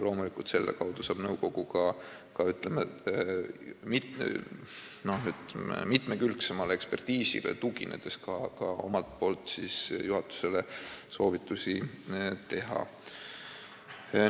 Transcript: Loomulikult saab nõukogu selle kaudu ka mitmekülgsemale ekspertiisile tuginedes omalt poolt juhatusele soovitusi anda.